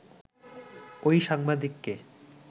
ওই সাংবাদিককে